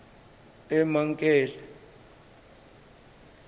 emankele